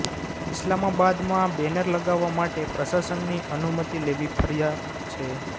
ઈસ્લામાબાદમાં banner લગાવવા માટે પ્રશાસનની અનુમતિ લેવી ફરિયાત છે